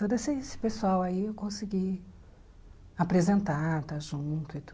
Todo esse esse pessoal aí eu consegui apresentar, estar junto e tudo.